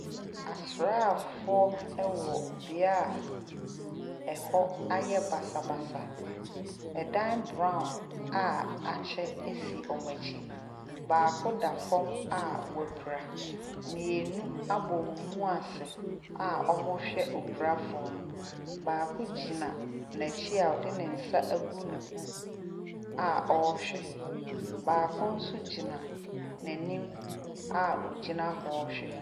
Asraafoɔ wɔ bea a ɛhɔ ayɛ basabasa. Ɛdan brown a akyɛ si wɔn akyi. Baako da fam a wapira. Mmienu abɔ wɔn mu ase a wɔrehwɛ opirafoɔ no. Baako gyina n'akyi a ɔde ne nsa agu ne ho a ɔrehwɛ. Baako nso gyina n'anim a ɔgyina hɔ rehwɛ.